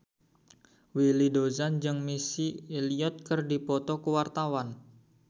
Willy Dozan jeung Missy Elliott keur dipoto ku wartawan